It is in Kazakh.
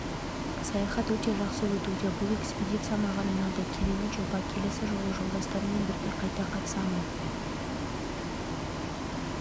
саяхат өте жақсы өтуде бұл экспедиция маған ұнады керемет жоба келесі жылы жолдастарыммен бірге қайта қатысамын